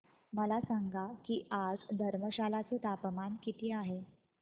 मला सांगा की आज धर्मशाला चे तापमान किती आहे